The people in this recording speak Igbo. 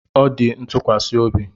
A dị m ntụkwasị obi